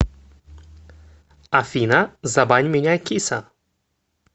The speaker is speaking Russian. афина забань меня киса